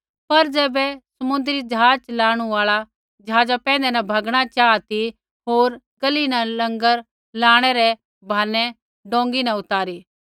पर ज़ैबै समुन्द्री ज़हाज़ च़लाणु आल़ा ज़हाज़ा पैंधै न भैगणा चाहा ती होर गलही न लँगर लाणै रै बहानै डोंगी न उतारी